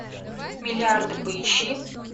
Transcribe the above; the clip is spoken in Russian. миллиарды поищи